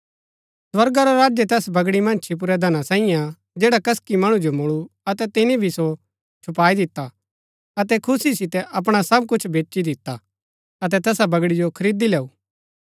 स्वर्गा रा राज्य तैस बगड़ी मन्ज छिपुरै धना साईये हा जैडा कसकि मणु जो मूळु अतै तिनी भी सो छुपाई दिता अतै खुशी सितै अपणा सब कुछ बेची दिता अतै तैसा बगड़ी जो खरीदी लैऊ